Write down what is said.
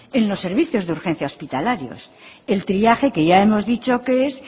en los servicios de urgencia hospitalaria el triaje que ya hemos dicho que es